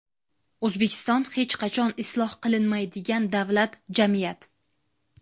O‘zbekiston hech qachon isloh qilinmaydigan davlat, jamiyat.